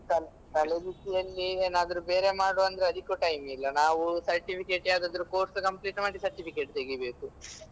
ತಲೆಬಿಸಿಯಲ್ಲಿ ಏನಾದ್ರು ಬೇರೆ ಮಾಡ್ವ ಅಂದ್ರೆ ಅದ್ಕೂ time ಇಲ್ಲ. ನಾವೂ certificate ಯಾವದಾದ್ರು course complete ಮಾಡಿ certificate ತೆಗಿಬೇಕು.